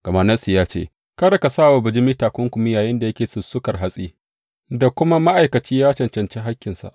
Gama Nassi ya ce, Kada ka sa wa bijimi takunkumi yayinda yake sussukar hatsi, da kuma, Ma’aikaci ya cancanci hakkinsa.